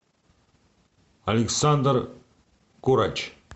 александр курач